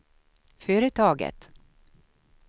företaget